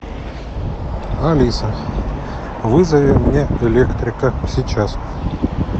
алиса вызови мне электрика сейчас